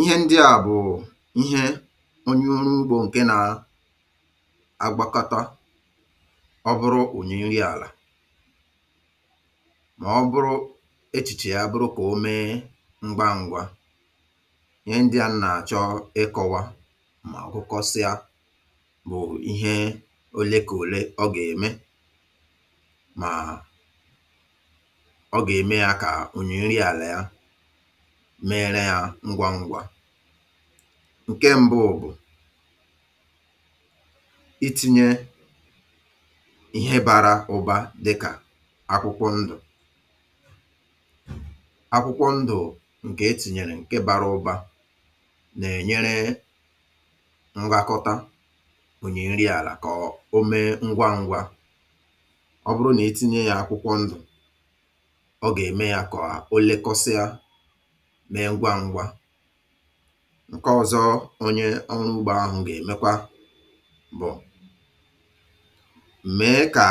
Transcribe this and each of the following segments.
Ihe ndịà bụ̀ ihe onye oru ugbȯ nke na agbakọta ọ bụrụ̇ ụnyẹ̇ nrị àlà ma ọ bụrụ̇ echìchè ya bụrụ kà o mee mgba ngwa. Ihe ndịà m na-achọ ịkọwa ma gụkọsịa bụ̀ ihe o lekà ole ọ ga-eme ma um ọ ga-eme yȧ kà onyẹ̀ nrị àlà ya mere ya ngwa ngwa. Nke m̀bu bụ̀, itinye ihe bara ubȧ dịkà akwụkwọ ndụ̀, akwụkwọ ndụ̀ ǹkè etìnyèrè ǹke bara ubȧ nà-ènyere ngakọta ònyi nri àlà akà o mee ngwaǹgwa ọ bụrụ nà itinye yȧ akwụkwọ ndụ̀ ọ gà-ème yȧ kà o lekọsịa mee ngwa ngwa. Nke ọ̇zọ̇ onye ọrụ ugbȯ ahụ̀ gà-èmekwa bụ̀, m̀mè kà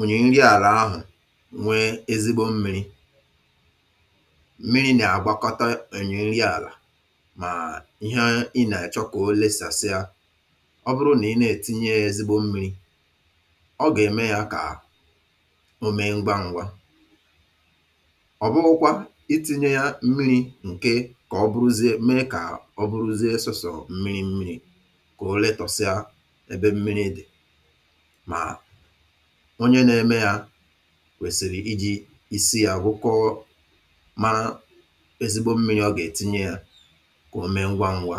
ònyi nri àlà ahụ̀ nwee ezigbo mmi̇ri̇, mmiri̇ nà-àgbakọta ònyi nri àlà mà ihe ị nà-èchọ kà o lėsàsị. Ọ bụrụ nà ị na-ètinye ya ezigbo mmi̇ri̇ ọ gà-ème ya kà o mee ngwa ǹgwa. Ọbughi kwa itinye ya mmiri nke kà ọ bụrụzie mee kà ọ bụrụzie sọsọ̀ mmiri̇ mmiri̇ kà ole tọ̀sịa n’ebe mmiri̇ dì mà onye nȧ-eme yȧ kwèsìrì iji̇ isi yȧ wụkọ mara ezigbo mmiri̇ ọ gà-ètinye yȧ kò o mee ngwa ngwa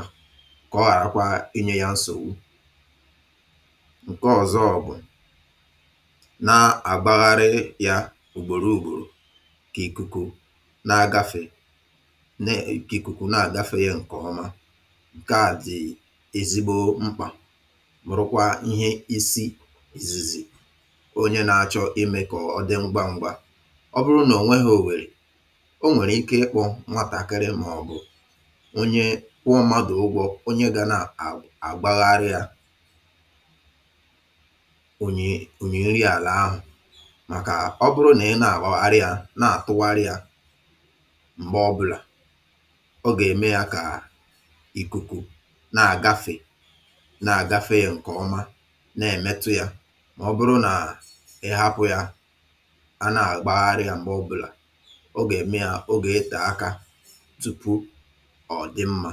kà ọ ghàràkwa inye yȧ nsọwu. Ǹke ọ̀zọ bụ̀ na àgbagharị yȧ ùgbòro ùgbòrò ka ikuku ka ikụ̀kụ̀ na-àdafe yȧ ǹkè ọma. Nke a dì ezigbo mkpà mà rukwa ihe isi zizì onye na-achọ̇ imė kà ọ̀ dị ngwa ngwa. Ọ bụrụ nà ò nwe hȧ ò wèrè, o nwèrè ike ịkpọ̇ nwatàkịrị mà ọ̀bụ̀ onye kwụọ mmadù ụgwọ̇ onye ga na-àgbagharị à ònyi ònyi nrị àlà ahụ̀ màkà ọ bụrụ nà ị na-àgba harịa na-àtụgharị à mgbe obula, ọ gà-ème ya kà à ìkùkù na-àgafè na-àgafè ya ǹkè ọma na-èmetu yȧ mà ọ bụrụ nàà ị hapụ̇ yȧ a na-àgbagharị yȧ m̀gbè ọbụ̇là ọ gà-ème ya, ogè itè aka tùpụ ọ̀dị mmȧ.